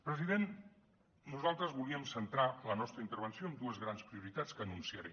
president nosaltres volíem centrar la nostra intervenció en dues grans prioritats que enunciaré